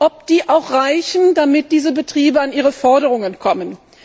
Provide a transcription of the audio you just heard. ob die auch reichen, damit diese Betriebe an ihre Forderungen kommen.